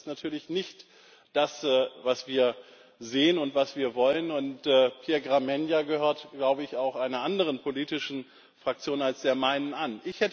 Das ist natürlich nicht das, was wir sehen und was wir wollen, und Pierre Gramegna gehört, glaube ich, auch einer anderen politischen Fraktion als der meinen an.